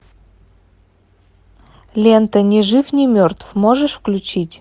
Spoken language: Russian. лента ни жив ни мертв можешь включить